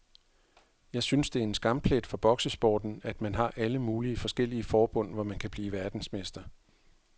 Jeg synes det er en skamplet for boksesporten, at man har alle mulige forskellige forbund, hvor man kan blive verdensmester.